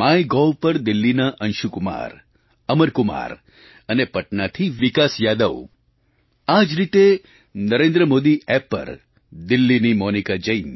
my Gov પર દિલ્લીના અંશુકુમાર અમરકુમાર અને પટનાથી વિકાસ યાદવ આ જ રીતે નરેન્દ્ર મોદી એપ પર દિલ્લીની મોનિકા જૈન